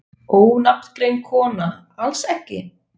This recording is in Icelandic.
Ónafngreind kona: Alls ekki?